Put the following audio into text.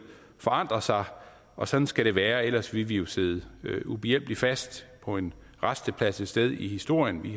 forandrer sig og sådan skal det være for ellers ville vi jo sidde ubehjælpeligt fast på en rasteplads et sted i historien vi